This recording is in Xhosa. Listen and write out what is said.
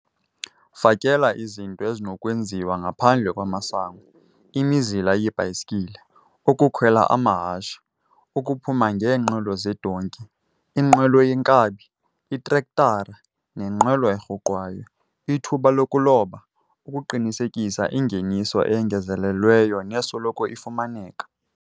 Fakela izinto ezinokwenziwa ngaphandle kwamasango - imizila yeebhayisikile, ukukhwela amahashe, ukuphuma ngeenqwelo zeedonki, inqwelo yeenkabi, itrektara nenqwelo erhuqwayo, ithuba lokuloba - ukuqinisekisa ingeniso eyongezelelweyo nesoloko ifumaneka.